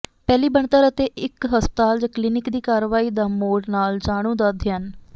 ਪਹਿਲੀ ਬਣਤਰ ਅਤੇ ਇੱਕ ਹਸਪਤਾਲ ਜ ਕਲੀਨਿਕ ਦੀ ਕਾਰਵਾਈ ਦਾ ਮੋਡ ਨਾਲ ਜਾਣੂ ਦਾ ਅਧਿਐਨ